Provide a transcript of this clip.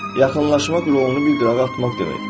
Yaxınlaşmaq rolunu bir duraq atmaq deməkdir.